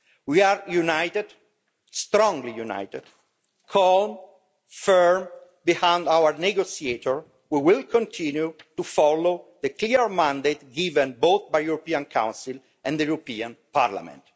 We are united strongly united calm and firm behind our negotiator who will continue to follow the clear mandate given both by the European Council and the European Parliament.